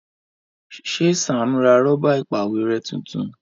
Ṣe Sam rà Rọ́bà ìpàwérẹ́ títún?